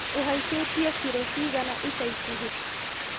Uhaicĩtie kiro cigana ica ikuhĩ